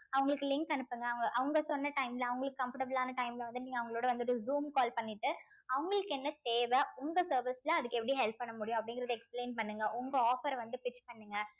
அவங்களுக்கு link அனுப்புங்க அவங்~ அவங்க சொன்ன time ல அவங்களுக்கு comfortable ஆன time ல வந்து நீங்க அவங்களோட வந்துட்டு zoom call பண்ணிட்டு அவங்களுக்கு என்ன தேவ உங்க service ல அதுக்கு எப்படி help பண்ண முடியும் அப்படிங்கிறதை explain பண்ணுங்க உங்க offer அ வந்து fix பண்ணுங்க